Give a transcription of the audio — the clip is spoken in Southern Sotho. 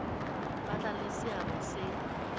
tla ba le seabo se